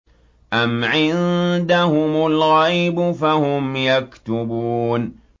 أَمْ عِندَهُمُ الْغَيْبُ فَهُمْ يَكْتُبُونَ